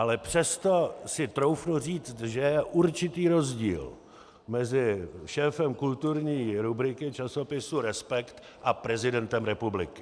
Ale přesto si troufnu říct, že je určitý rozdíl mezi šéfem kulturní rubriky časopisu Respekt a prezidentem republiky.